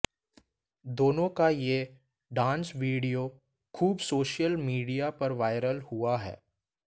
दोनों का ये डांस वीडियो खूब सोशल मीडिया पर वायरल हुआ है